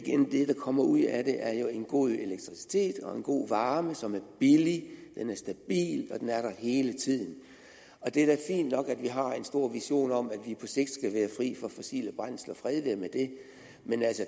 det der kommer ud af det er jo en god elektricitet og en god varme som er billig den er stabil og den er der hele tiden det er da fint nok at vi har en stor vision om at vi på sigt skal være fri for fossile brændsler fred være med det men